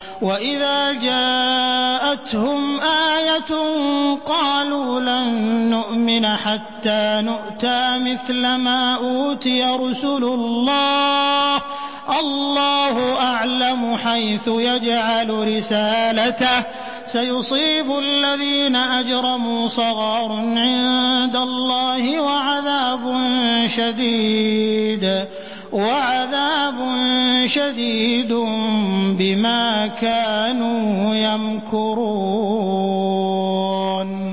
وَإِذَا جَاءَتْهُمْ آيَةٌ قَالُوا لَن نُّؤْمِنَ حَتَّىٰ نُؤْتَىٰ مِثْلَ مَا أُوتِيَ رُسُلُ اللَّهِ ۘ اللَّهُ أَعْلَمُ حَيْثُ يَجْعَلُ رِسَالَتَهُ ۗ سَيُصِيبُ الَّذِينَ أَجْرَمُوا صَغَارٌ عِندَ اللَّهِ وَعَذَابٌ شَدِيدٌ بِمَا كَانُوا يَمْكُرُونَ